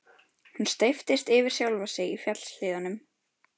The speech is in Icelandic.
Hún steyptist yfir sjálfa sig í fjallshlíðunum.